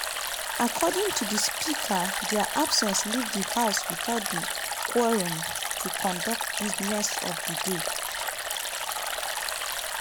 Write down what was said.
according to di speaker dia absence leave di house witout di quorum to conduct business of di day.